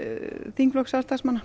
þingflokk Sjálfstæðismanna